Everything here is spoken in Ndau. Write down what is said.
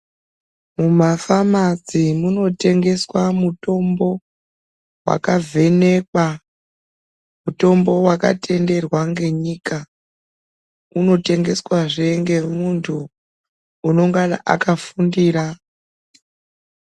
Mumafamasi munotengeswa mutombo vakavhenekwa, mutombo vakatenderwa ngenyika, unotengeswazve ngemuntu unongai akafundira.